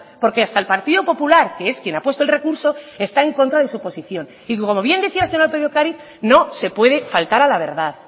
porque hasta el partido popular que es quien ha puesto el recurso está en contra de su posición y como bien decía la señora lópez de ocariz no se puede faltar a la verdad